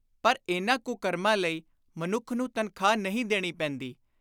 ਪਰ ਇਨ੍ਹਾਂ ਕੁਕਰਮਾਂ ਲਈ ਮਨੁੱਖ ਨੂੰ ਤਨਖ਼ਾਹ ਨਹੀਂ ਦੇਣੀ ਪੈਂਦੀ।